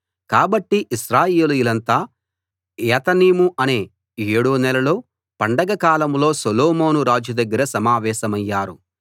కాబట్టి ఇశ్రాయేలీయులంతా ఏతనీము అనే ఏడో నెలలో పండగ కాలంలో సొలొమోను రాజు దగ్గర సమావేశమయ్యారు